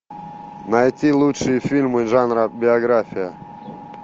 найти лучшие фильмы жанра биография